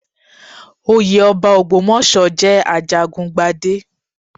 Oyé ọba Ògbómọ̀ṣọ́ jẹ́ ajagun gbadé.